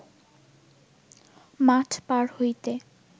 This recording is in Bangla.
মাঠ পার হইতে